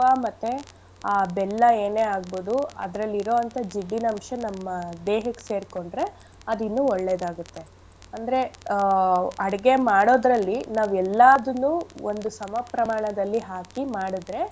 ಮತ್ತೆ ಆ ಬೆಲ್ಲ ಏನೇ ಆಗ್ಬೋದು ಅದ್ರಲ್ ಇರೋ ಅಂಥ ಜಿಡ್ಡಿನಂಶ ನಮ್ಮ ದೇಹಕ್ ಸೇರ್ಕೊಂಡ್ರೆ ಅದಿನ್ನು ಒಳ್ಳೇದಾಗತ್ತೆ. ಅಂದ್ರೆ ಆ ಅಡ್ಗೆ ಮಾಡೋದ್ರಲ್ಲಿ ನಾವ್ ಎಲ್ಲದನ್ನು ಒಂದು ಸಮ ಪ್ರಮಾಣದಲ್ಲಿ ಹಾಕಿ ಮಾಡಿದ್ರೆ.